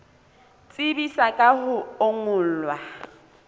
tsebisa ka ho o ngolla